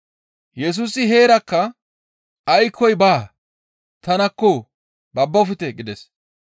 Yesusi heerakka, «Aykkoy baa! Tanakko; babbofte!» gides.